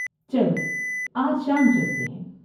چلو آج شام چلتے ہیں۔